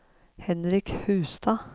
Henrik Hustad